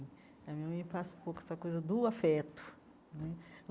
A minha mãe passa um pouco essa coisa do afeto né.